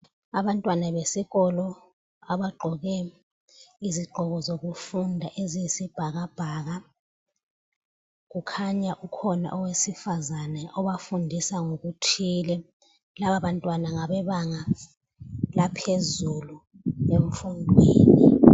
Abantwana besikolo abagqoke izigqoko zokufunda eziyisibhakabhaka kukhanya ukhona owesifazana obafundisa ngokuthile laba bantwana ngabebanga laphezulu emfundweni.